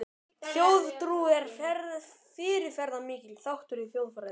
Þjóðtrú er fyrirferðamikill þáttur í þjóðfræði.